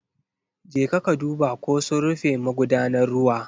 Jeka ka duba ko sun rufe magudanar ruwa.